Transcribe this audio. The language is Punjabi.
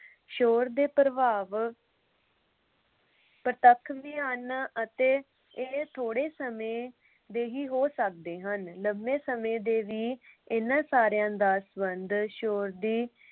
ਸ਼ੋਰ ਦੇ ਪ੍ਰਭਾਵ ਪ੍ਰਤੱਖ ਮਿਆਨਾਂ ਅਤੇ ਥੋੜੇ ਸਮੇਂ ਦੇ ਹੀ ਹੋ ਸਕਦੇ ਹਨ। ਲੰਮੇ ਸਮੇਂ ਦੇ ਵੀ ਇਨ੍ਹਾਂ ਸਾਰਿਆਂ ਦਾ ਸੰਬੰਧ ਸ਼ੋਰ ਦੀ